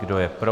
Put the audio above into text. Kdo je pro?